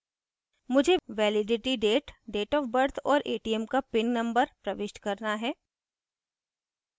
मुझे validity date date of birth और atm का pin number प्रविष्ट करना है